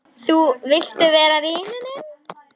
Vilt þú vera vinur minn?